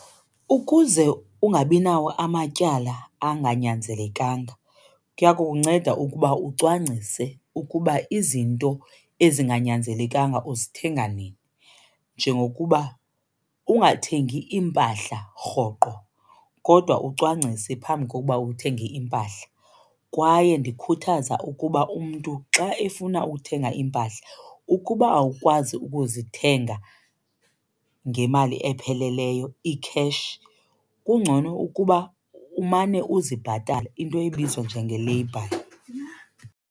Ukuze ungabinawo amatyala anganyanzelenkanga kuya kukunceda ukuba ucwangcise ukuba izinto ezinganyanzelenkanga uzithenga nini, njengokuba ungathengi iimpahla rhoqo kodwa ucwangcise phambi kokuba uthenge iimpahla. Kwaye ndikhuthaza ukuba umntu xa efuna uthenga iimpahla, ukuba awukwazi ukuzithenga ngemali epheleleyo i-cash kungcono ukuba umane uzibhatala, into ebizwa njenge-lay buy.